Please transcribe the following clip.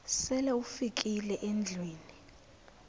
sele ufikile endlwini